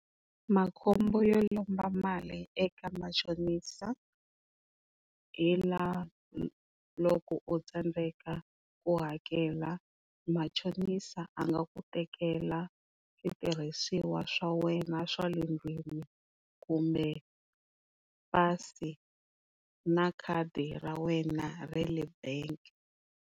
Makhombo yo lomba mali eka machonisa hi la loko u tsandeka ku hakela machonisa a nga ku tekela switirhisiwa swa wena swa le ndlwini kumbe pasi na khadi ra wena ra le bangi.